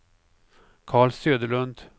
Karl Söderlund